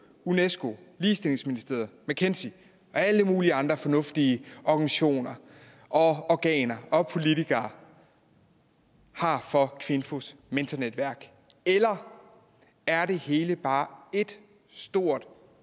unesco ligestillingsministeriet mckinsey og alle mulige andre fornuftige organisationer og organer og politikere har for kvinfos mentornetværk eller er det hele bare et stort